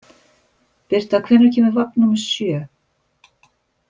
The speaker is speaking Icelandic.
Birta, hvenær kemur vagn númer sjö?